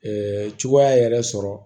cogoya yɛrɛ sɔrɔ